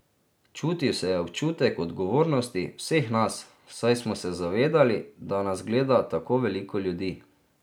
Čutil se je občutek odgovornosti vseh nas, saj smo se zavedali, da nas gleda tako veliko ljudi.